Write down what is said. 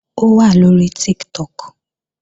Ó wà lóri Tiktok